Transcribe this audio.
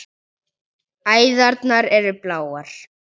Æðarnar eru bláar.